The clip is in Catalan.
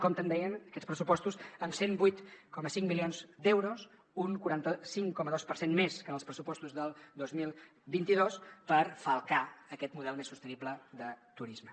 compten dèiem aquests pressupostos amb cent i vuit coma cinc milions d’euros un quaranta cinc coma dos per cent més que en els pressupostos del dos mil vint dos per falcar aquest model més sostenible de turisme